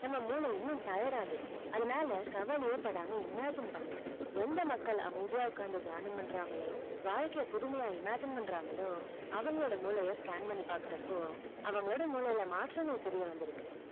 நம்ம மூளை இன்னும் tried ஆகிரும் அதுனால கவலையே படாமா imagine பண்ணுங்க எந்த மக்கள் அமைதியா உக்காந்து தியானம் பண்றங்களோ வாழ்க்கை புதுமையாய் imagine பண்றங்களோ அவங்களோட மூளையே ஸ்கேன் பண்ணி பாக்கறப்போ அவங்களோட மூளைல மாற்றங்கள் தெரிய வந்து இருக்கு